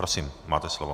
Prosím, máte slovo.